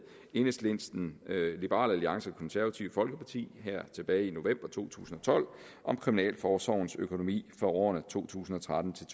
enhedslisten liberal alliance konservative folkeparti tilbage i november to tusind og tolv om kriminalforsorgens økonomi for årene to tusind og tretten til